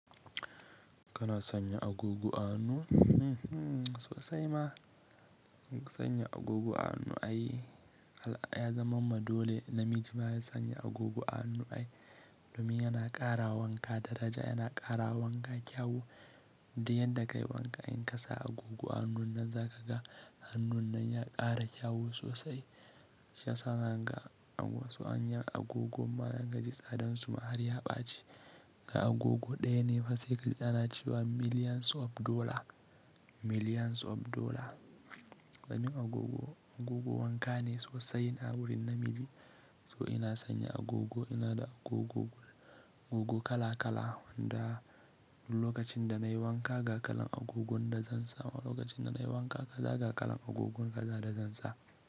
Kana sanya agogo a hannu? Sosai ma. Sanya agogo a hannu ai ya zama ma dole. Namiji baya sanya agogo a hannu ai domin yana ƙara wanka daraja, yana ƙara wanka kyau. Duk yan da ka yi wanka in ka sa agogo a hannun nan za ka ga hannun nan ya ƙara kyau sosai. Shi yasa zaka ga wasu hanyar agogon ma inka ji tsadansu har ya ɓaci. Ga agogo ɗaya ne fa se kaji ana cewa millions of dollars, millions of dollars. Domin agogo, agogo wanka ne sosai na wurin namiji. To ina sanya agogo ina da agogo kala kala wanda lokacin da na yi wanka, ga kalan agogon da zan sa wa, lokacin da na yi wanka kaza ga kalan agogon kaza da zan sa.